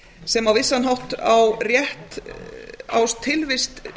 sem á vissan hátt á rétt á tilvist